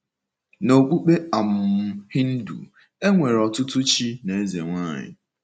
N’okpukpe um Hindu, e nwere ọtụtụ chi na ezenwaanyị.